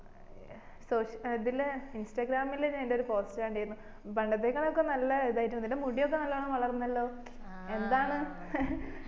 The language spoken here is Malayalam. ഏർ സോഷ്യ ഇതില് ഇൻസ്റാഗ്രാമില് നിന്റെ ഒരു പോസ്റ്റ് കണ്ടിരുന്നു പണ്ടത്തേക്കാളുമൊക്കെ നല്ല ഒരു ഇത് ആയിട്ടിണ്ട് നിന്റെ മുടിയൊക്കെ നല്ലോണം വളർന്നല്ലോ എന്താണ്